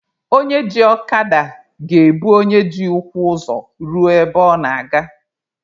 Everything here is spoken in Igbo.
Onye ji ọkada ga-ebu onye ji ụkwụ ụzọ ruo ebe ọ na-aga.